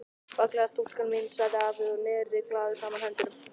Fallega stúlkan mín sagði afi og neri glaður saman höndunum.